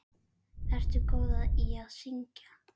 Ertu góð í að syngja?